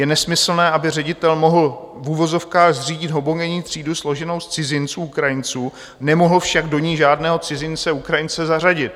Je nesmyslné, aby ředitel mohl v uvozovkách zřídit homogenní třídu složenou z cizinců Ukrajinců, nemohl však do ní žádného cizince Ukrajince zařadit.